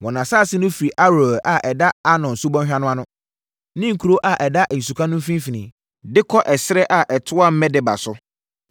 Wɔn asase no firi Aroer a ɛda Arnon Subɔnhwa no ano (ne kuro a ɛda nsuka no mfimfini) de kɔ ɛserɛ a ɛtoa Medeba so.